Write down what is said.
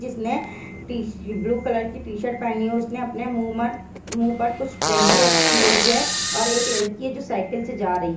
जिस ने तशीर ब्लू कलर की टी शर्ट पहनी हुई उसने अपने मुँह पर कुछ दाडी रखी हुई है और एक लड़की है जो साइकिल से जा रही है ।